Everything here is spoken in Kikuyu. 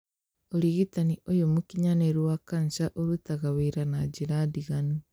Ũrigitaniũyũ mũkinyanĩrũwa kanja ũrutaga wĩra na njĩra ndiganũ